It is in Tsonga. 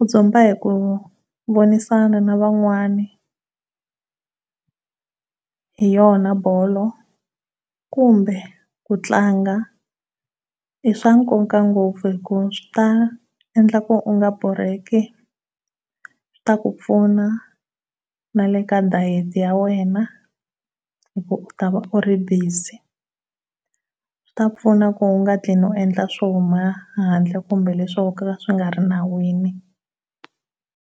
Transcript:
U dzumba hi ku vonisana na van'wana yo hi yona bolo kumbe ku tlanga i swa nkoka ngopfu hi ku swi ta endla ku u nga borheki swi ta ku pfuna na le ka diet ya wena hi ku ta va u ri busy, swi ta pfuna ku u nga tlheli u endla swo huma handle kumbe leswi swo ka swi nga ri le nawini.